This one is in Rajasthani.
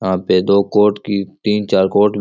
यहां पे दो कोर्ट की तीन चार कोर्ट --